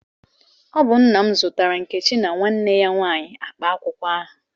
Ọ bụ nna m zụtara Nkechi na nwanne ya nwanyị akpa akwụkwọ ahụ.